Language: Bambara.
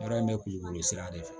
Baara in bɛ kulukoro sira de fɛ